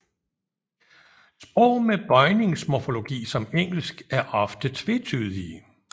Sprog med bøjningsmorfologi som Engelsk er ofte tvetydige